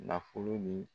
Nafolo min